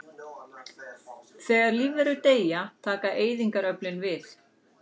Þegar lífverur deyja taka eyðingaröflin við.